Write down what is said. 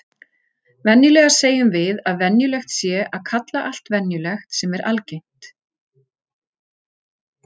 Venjulega segjum við að venjulegt sé að kalla allt venjulegt sem er algengt.